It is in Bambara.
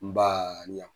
N ba ɲa